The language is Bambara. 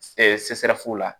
la